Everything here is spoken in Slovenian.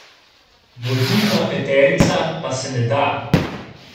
Vodilna peterica pa se ne da.